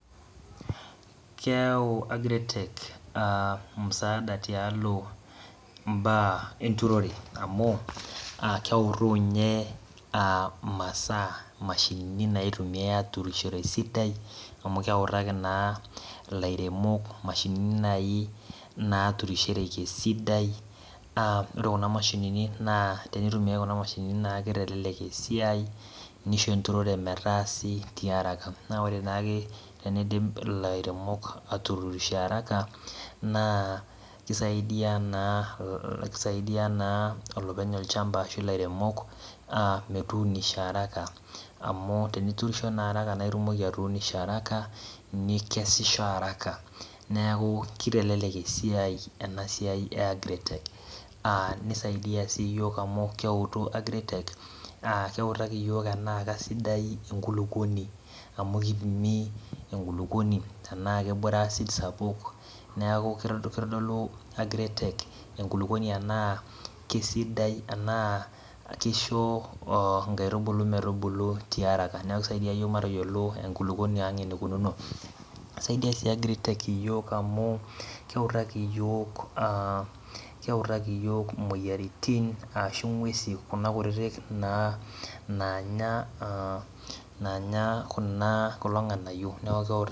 Keeyau agritech msaada tialo enkiremore amuaa keutu ninye imashinini nairemishoreki amu keutaa imashinini neiremishoreki esidai amu pre kuna mashinini naa keitelelek esiai neisho enturore metaa sii tiaraka naa ore ake peindip ilairemok aaturisho araka naa keisaidia naa olopeny olchamba ashu ilaremok metuunisho araka amu teniturisho sii naa itumoki atuunisho araka nikesisho araka neeku keitelelek esiai ene siai e agritech aa neisaidia sii yiok amu keutu enaa keisidai enkulupuoni enaa ketii asid sapuk naaku keitodolu enkulupuoni enaa keisidai enaa keisho inkaitubulu metubulu tiaraka neeku keitayiolo enkulupuoni aang eneikununo keutaki iyiok aa keutaki iyiok imoyiaritin ashu ing'esin naanya kulo ng'anayio